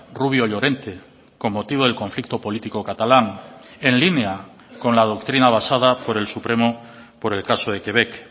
rubio llorente con motivo del conflicto político catalán en línea con la doctrina basada por el supremo por el caso de quebec